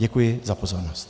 Děkuji za pozornost.